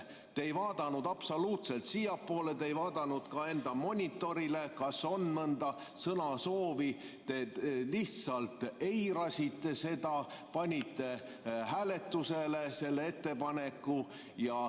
Te ei vaadanud absoluutselt siiapoole, te ei vaadanud ka enda monitorile, et kas on mõnda sõnasoovi, te lihtsalt eirasite seda ja panite hääletusele selle ettepaneku.